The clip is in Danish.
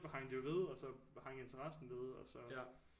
Hang det jo ved og så hang interessen ved og så